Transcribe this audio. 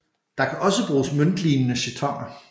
Der kan også bruges møntlignende jetoner